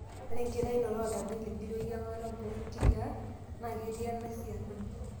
Ore enkitainoto ooltagiligil weyiang'ata boonkiyiaa naa ketii ena siana.